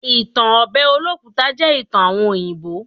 Ìtan obe Olókùta jẹ́ ìtan àwon òyìnbó.